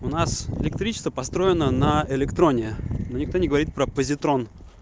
у нас электричество построено на электроне но никто не говорит про позитрон